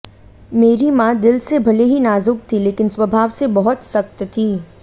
मेरी मां दिल से भले ही नाजुक थीं लेकिन स्वभाव से बहुत सख्त थीं